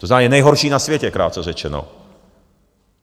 To znamená, je nejhorší na světě, krátce řečeno.